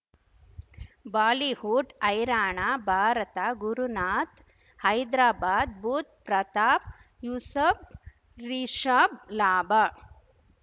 Bollywood ಹೈರಾಣ ಭಾರತ ಗುರುನಾಥ್ ಹೈದರಾಬಾದ್ ಬುಧ್ ಪ್ರತಾಪ್ ಯೂಸಫ್ ರಿಷಬ್ ಲಾಭ